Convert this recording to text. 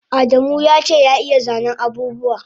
Adamu yace ya iya zanen abubuwa